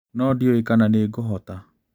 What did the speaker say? No ndiũĩ kana nĩngũhota.